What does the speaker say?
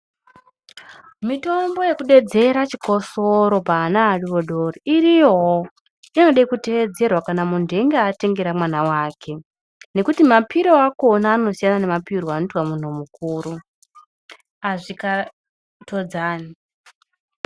Mitombo yekudedzera chikosoro paana adodori iriyowo inode kuteedzerwa kana muntu einge atengera mwana wake nekuti mapiro akona anosiyana nemapirwo anoitwa munhu mukuru azvikatodzani.